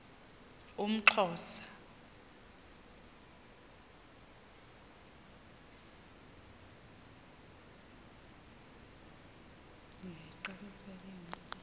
umxhosa